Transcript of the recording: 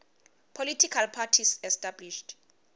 political parties established